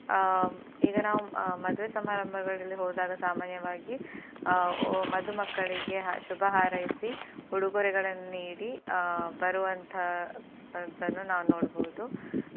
ಆ ಈಗ ನಾವು ಆ ಮದುವೆ ಸಮಾರಂಭಗಳಲ್ಲಿ ಹೋದಾಗ ಸಾಮಾನ್ಯವಾಗಿ ಆ ಮದುಮಕ್ಕಳಿಗೆ ಶುಭ ಹಾರೈಸಿ ಉಡುಗೊರೆಗಳನ್ನ್ ನೀಡಿ ಆ ಬರುವಂತಹದನ್ನು ನಾವು ನೋಡಬಹುದು.